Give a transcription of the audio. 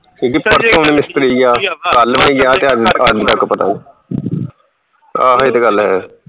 ਕਿਉਂਕਿ ਪਰਸੋਂ ਉਹਨੇ ਮਿਸਤਰੀ ਗਿਆ ਕੱਲ ਨੀ ਗਿਆ ਤੇ ਅੱਜ ਅੱਜ ਦਾ ਤਾਂ ਪਤਾ ਨੀ ਆਹ ਇਹ ਤੇ ਗੱਲ ਹੈ